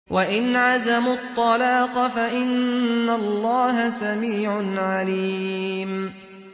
وَإِنْ عَزَمُوا الطَّلَاقَ فَإِنَّ اللَّهَ سَمِيعٌ عَلِيمٌ